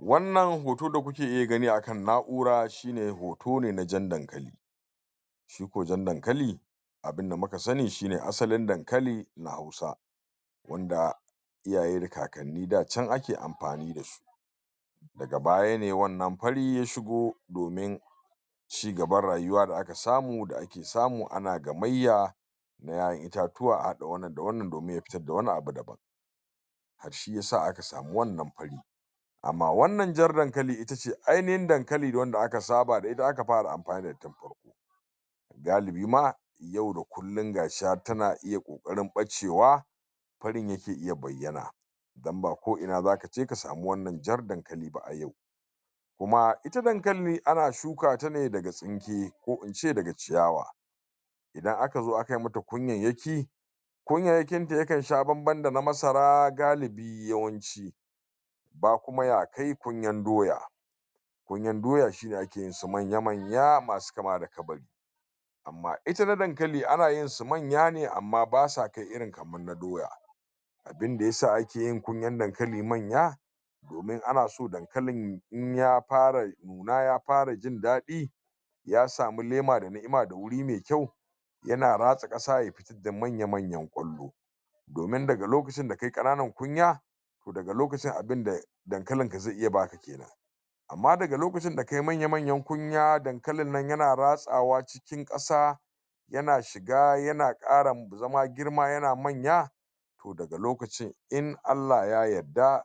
wannan hoto da kuke dai gani akan nakura shine hoto ne na jan dankali shi ko jan dankali abunda muka sani shine asalin dankali na hausa wanda iyaye kakanni da can ake amfani dashi daga baya ne wannan fari ya shigo domin cigaban rayuwa da aka samu samu ana gabayya na 'ya 'yan itatuwa a hada wannan da wannan domin ya fitar da wani abu daban shiyasa aka samu wannan fari amma wannan jar dankali itace ainihin dankali wanda aka saba da ita aka fara amfani ga bima yau da kullun gashi har tana iya kokarin bace wa farin yake iya bayyana dan ba ko ina zaka je ka samu wannan jar dankali ba a yau kuma ita dankali ana shukata ne daga tsinke ko in ce daga ciyawa idan aka zo aka yi mata kunyayyaki kunyayyakinta yakan sha ban ban gali yawanci ba kuma ya kai kunyan doya kunyan doya shine ake yin sa manya manya masu kama da kabari amma ita na dankali ana yin su manya ne amma basa kai irin kaman na doya abinda yasa ake yin kunyan dankali manya domin ana so dankalin in ya fara da yafara jin dadi ya samu lema da ni'ima da guri mai kyau yanan ratsa kasa da manya manyan kwallo domin daga lokacin da kayi kananan kunya daga lokacin abinda dankalin ka zai iya ba amma daga lokacin da kayi manya manyan kunya dankalin nan yana ratsa wa cikin kasa yana shiga ya kara zama manya to daga lokacin in allah ya yarda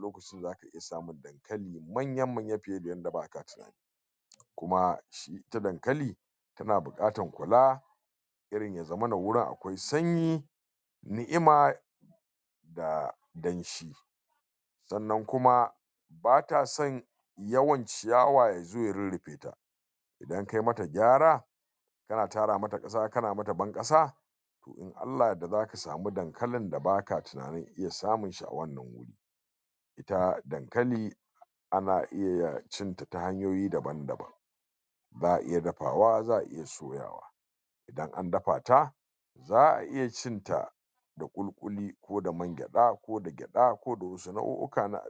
lokacin zaka fi samun dankali manyan mu ne kuma su dankali suna bukatan kula irin ya zamana gurin akwai sanyi ni'ima da danshi sannan kuma bata san yawan ciyawa ya zo rurrufe idan kai mata gyara ka taratara mata kasa kana mata ban kasa in allah ya yarda zaka samu dankalin da baka tunanin iya samun sa ga dankali ana iya cinta hanyoyi daban daban za'a iya dafawa za'a iya ana dafa ta za'a iya cinta da kuli kuli ko da man gyada ko da za'a fito da wasu nau'uka na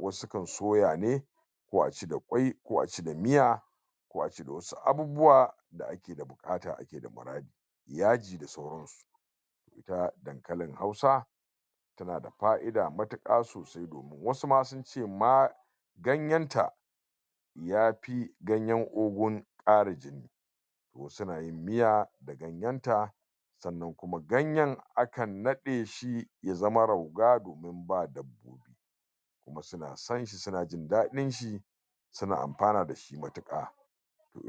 wasu kan soya ne ko a ci da kwai ko a ci da miya ko a ci da wasu abubuwa da bukata yaji na dankalin hausa yanada fa'ida matika sosai wasu ma sun ce ma ganyen ta ya fi ganyen ogun kara jini wasu na yin miya ganyen ta sannan kuma ganyen akan nade shi su zama rauga domin a science suna jin dadin shi suna amfani dashi matika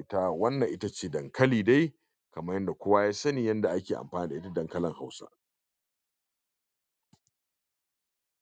ta wannan ita ce dankalin dai kamar yadda kowa ya sani yanda ake amfani da dankalin hausa